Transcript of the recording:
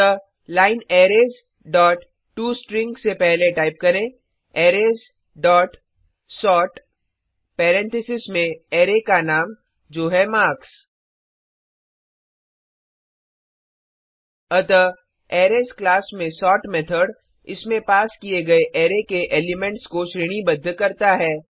अतः line arrays dot tostring से पहले टाइप करें अरेज डॉट सोर्ट पैरेंथेसिस में अरै का नाम जो है मार्क्स अतः अरेज क्लास में सोर्ट मेथड इसमें पास किए गए अरै के एलिमेंट्स को श्रेणीबद्ध करता है